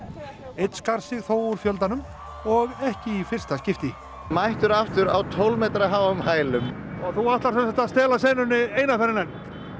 einn skar sig þó úr fjöldanum og ekki í fyrsta skipti mættur aftur á tólf metra háum hælum þú ætlar semsagt að stela senunni einu sinni enn